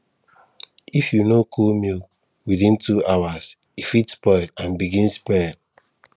if you no cool milk within two hours e fit spoil and begin smell